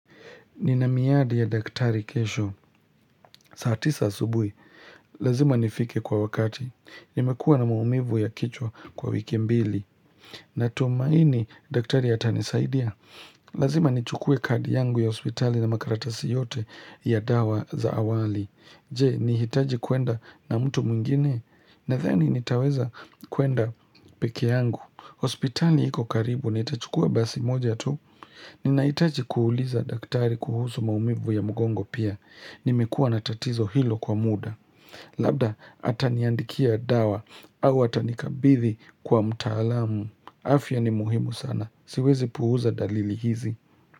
Ninamiadi ya daktari kesho, saa tisa asubui, lazima nifike kwa wakati, nimekua na maumivu ya kichwa kwa wiki mbili, na tomaini daktari hata nisaidia. Lazima nichukue kadi yangu ya ospitali na makaratasi yote ya dawa za awali. Je, nihitaji kwenda na mtu mungine, na theni nitaweza kwenda peke yangu. Hospitali hiko karibu nitachukua basi moja tu. Ninaitachi kuuliza daktari kuhusu maumivu ya mgongo pia. Nimekua natatizo hilo kwa muda. Labda ataniandikia dawa au atanikabithi kwa mtaalamu. Afya ni muhimu sana. Siwezi puhuza dalili hizi.